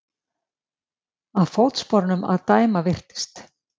Af fótsporunum að dæma virtist